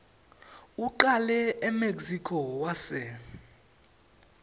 ucale emexico wase